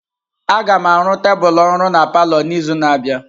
Agam arụ tebụl ọrụ na palọ n'izu na-abịa.